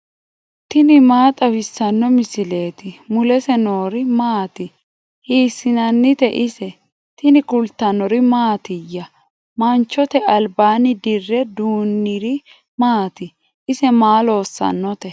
tini maa xawissanno misileeti ? mulese noori maati ? hiissinannite ise ? tini kultannori mattiya? Manchote alibaanni dirre duuniri maatti? ise maa loosannotte?